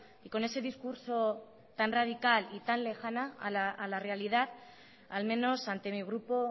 y con ese discurso tan radical y tal lejana a la realidad al menos ante mi grupo